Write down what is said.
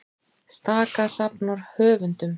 Staka safnar höfundum